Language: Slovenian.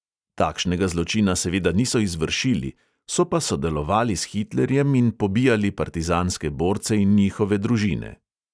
Takšnega zločina seveda niso izvršili, so pa sodelovali s hitlerjem in pobijali partizanske borce in njihove družine.